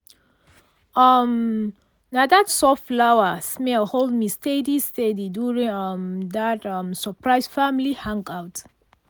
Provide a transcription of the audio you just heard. um na that soft flower-smell hold me steady steady during um that um surprise family hangout.